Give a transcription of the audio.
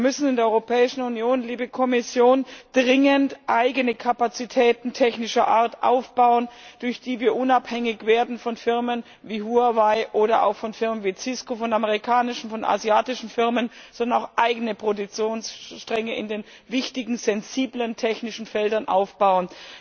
Wir müssen in der Europäischen Union, liebe Kommission, dringend eigene Kapazitäten technischer Art aufbauen, durch die wir unabhängig werden von Firmen wie Huawei oder auch von Firmen wie Cisco, von amerikanischen, von asiatischen Firmen, und müssen auch eigene Produktionsstränge in den wichtigen sensiblen technischen Feldern aufbauen.